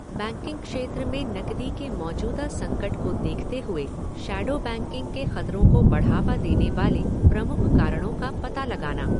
Banking क्षेत्र में नकदी के मौजूदा संकट को देखते हए शेडो बैंकिंग के खतरों को बढ़ावा देने वाले प्रमुख कारणों का पता लगाना।